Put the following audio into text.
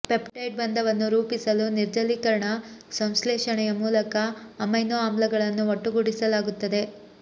peptide ಬಂಧವನ್ನು ರೂಪಿಸಲು ನಿರ್ಜಲೀಕರಣ ಸಂಶ್ಲೇಷಣೆಯ ಮೂಲಕ ಅಮೈನೊ ಆಮ್ಲಗಳನ್ನು ಒಟ್ಟುಗೂಡಿಸಲಾಗುತ್ತದೆ